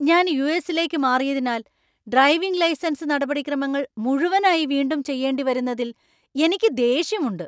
ഞാൻ യു.എസ്.ലേക്ക് മാറിയതിനാൽ ഡ്രൈവിംഗ് ലൈസൻസ് നടപടിക്രമങ്ങൾ മുഴുവനായി വീണ്ടും ചെയ്യേണ്ടിവരുന്നതിൽ എനിക്ക് ദേഷ്യമുണ്ട്.